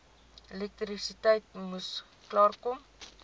elektrisiteit moes klaarkom